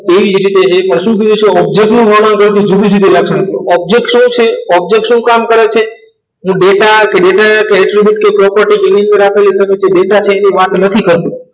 જે પણ શું જોઈએ છે object નું વર્ણન કરતી જુદી-જુદી લાક્ષણિકતા object શું છે object શું કામ કરે છે હું ડેટા કે ડેટા કેટરી બુટ કે property રાખેલી ડેટા છે એની વાત નથી કરતો